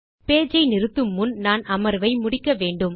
page ஐ நிறுத்துமுன் நான் அமர்வை முடிக்க வேண்டும்